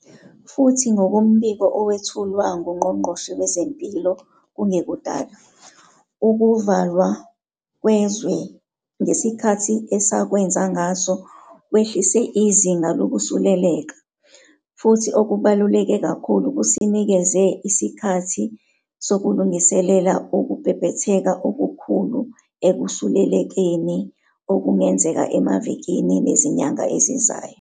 Futhi ngokombiko owethulwa nguNgqongqoshe Wezempilo kungekudala, ukuvalwa kwezwe ngesikhathi esakwenza ngaso kwehlise izinga lokusuleleka, futhi okubaluleke kakhulu, kusinikeze isikhathi sokulungiselela ukubhebhetheka okukhulu ekusulelekeni okungenzeka emavikini nezinyanga ezizayo.